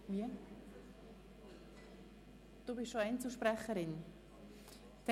24. Januar 2018, 17.00–18.10 Uhr Ursula Zybach, Spiez (SP)